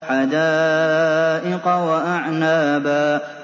حَدَائِقَ وَأَعْنَابًا